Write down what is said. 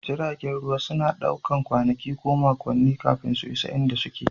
Jiragen ruwa sukan ɗauki kwanaki ko makonni kafin su isa inda suke